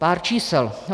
Pár čísel.